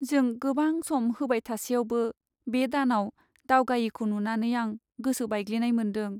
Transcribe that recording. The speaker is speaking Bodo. जों गोबां सम होबाय थासेयावबो बे दानाव दावगायैखौ नुनानै आं गोसो बायग्लिनाय मोन्दों।